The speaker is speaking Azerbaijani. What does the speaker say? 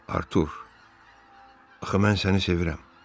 Artur, axı mən səni sevirəm.